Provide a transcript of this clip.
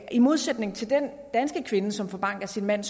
i modsætning til den danske kvinde som får bank af sin mand